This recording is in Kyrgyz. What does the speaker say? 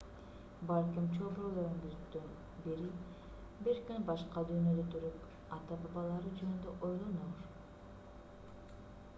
балким чөбүрөлөрүңүздүн бири бир күн башка дүйнөдө туруп ата-бабалары жөнүндө ойлоноор